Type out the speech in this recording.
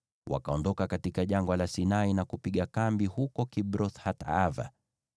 Wakaondoka katika Jangwa la Sinai na kupiga kambi huko Kibroth-Hataava.